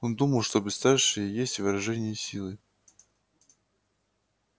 он думал что бесстрашие есть выражение силы